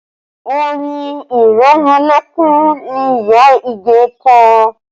Orin ìrẹmọlẹ́kún ni ìyá Ige kọ